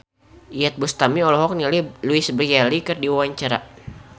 Iyeth Bustami olohok ningali Louise Brealey keur diwawancara